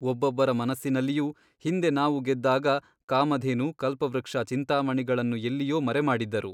ಒಬ್ಬೊಬ್ಬರ ಮನಸ್ಸಿನಲ್ಲಿಯೂ ಹಿಂದೆ ನಾವು ಗೆದ್ದಾಗ ಕಾಮಧೇನು ಕಲ್ಪವೃಕ್ಷ ಚಿಂತಾಮಣಿಗಳನ್ನು ಎಲ್ಲಿಯೋ ಮರೆಮಾಡಿದ್ದರು.